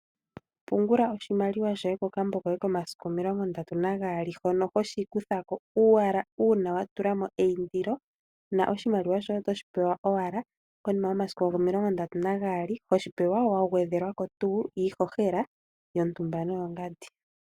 Pungula oshimaliwa shoye ko kambo koye komasiku omilongo ndatu na gaali hono ho shi kuthako owala uuna watulamo iyindilo, na oshimaliwa shoye oto shi pewa owala konima yomasiku omililongo ndatu Nagali, hoshi pewa wa gwedhelwako tuu iihohela yotumba no yo ngadi.